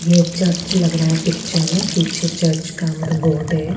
यह चर्च लग रहा है पिक्चर में पीछे चर्च का मतलब गॉड है।